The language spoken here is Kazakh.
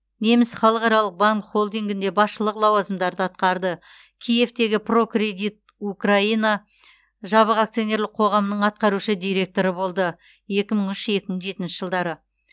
неміс халықаралық банк холдингінде басшылық лауазымдарды атқарды киевтегі прокредит украина жабық акционерлік қоғамы атқарушы директоры екі мың үш екі мың жетінші жылдары